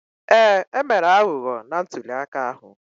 Ee, e mere aghụghọ na ntulịaka ahụ